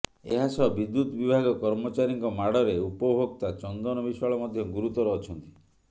ଏହାସହ ବିଦ୍ୟୁତ୍ ବିଭାଗ କର୍ମଚାରୀଙ୍କ ମାଡ଼ରେ ଉପଭୋକ୍ତା ଚନ୍ଦନ ବିଶ୍ୱାଳ ମଧ୍ୟ ଗୁରୁତର ଅଛନ୍ତି